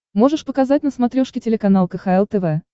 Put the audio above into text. можешь показать на смотрешке телеканал кхл тв